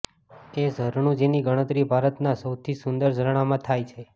એ ઝરણું જેની ગણતરી ભારતના સૌથી સુંદર ઝરણામાં થાય છે